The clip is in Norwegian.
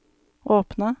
åpne